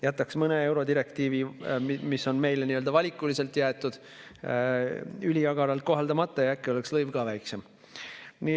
Jätaks mõne eurodirektiivi, mis on meile nii-öelda valikuliselt jäetud, üliagaralt kohaldamata ja äkki oleks lõiv ka väiksem.